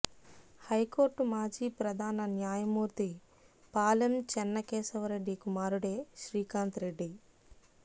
high court మాజీ ప్రధాన న్యాయమూర్తి పాలెం చెన్నకేశవ రెడ్డి కుమారుడే శ్రీకాంత్ రెడ్డి